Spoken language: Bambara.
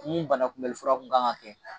Mun banakunbɛlifura kun kan ka kɛ.